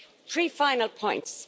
Three final points.